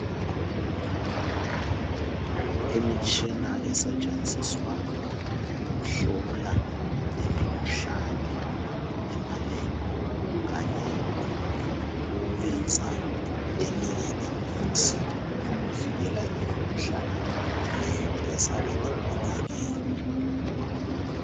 Imitshina esetshenziswa ukuhlola imikhuhlane emalebhi, Kanye lokwenza eminye imithi yokuvikela imikhuhlane le ezabe ibonakele